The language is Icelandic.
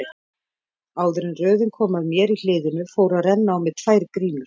Áður en röðin kom að mér í hliðinu fóru að renna á mig tvær grímur.